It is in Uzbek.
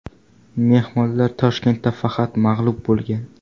Mehmonlar Toshkentda faqat mag‘lub bo‘lgan.